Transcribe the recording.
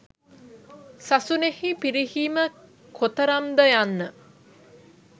සසුනෙහි පිරිහීම කොතරම් ද යන්න